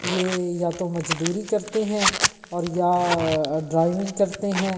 यह या तो मजदूरी करते हैं और या ड्राइविंग करते हैं।